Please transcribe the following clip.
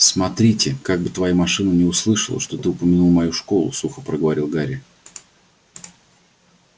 смотрите как бы твоя машина не услыхала что ты упомянул мою школу сухо проговорил гарри